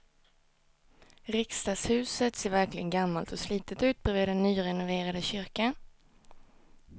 Riksdagshuset ser verkligen gammalt och slitet ut bredvid den nyrenoverade kyrkan.